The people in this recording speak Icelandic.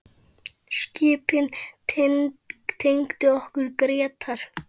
Skipin tengdu okkur Grétar.